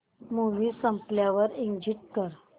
movie संपल्यावर exit कर